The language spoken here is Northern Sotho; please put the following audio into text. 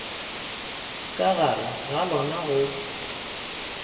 ka gare ga lona go